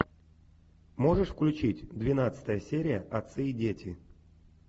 можешь включить двенадцатая серия отцы и дети